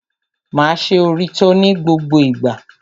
Máa ṣe òrítọ́ ní gbogbo ìgbà.